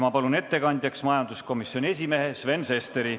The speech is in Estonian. Ma palun ettekandjaks majanduskomisjoni esimehe Sven Sesteri.